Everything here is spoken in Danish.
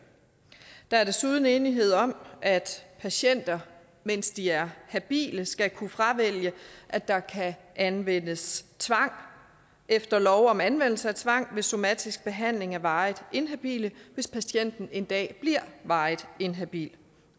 der er desuden enighed om at patienter mens de er habile skal kunne fravælge at der kan anvendes tvang efter lov om anvendelse af tvang ved somatisk behandling af varigt inhabile hvis patienten en dag bliver varigt inhabil